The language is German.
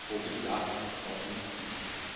ja vorgeschlagen worden